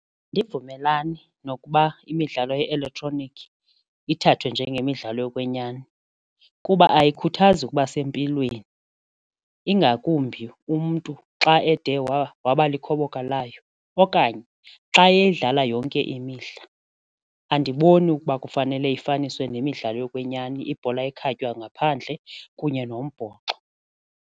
Andivumelani nokuba imidlalo ye-elektroniki ithathwe njengemidlalo yokwenyani kuba ayikhuthazi ukuba sempilweni ingakumbi umntu xa ede waba likhoboka layo okanye xa edlala yonke imihla. Andiboni ukuba kufanele ifunyaniswe nemidlalo yokwenyani ibhola ekhatywa ngaphandle kunye nombhoxo.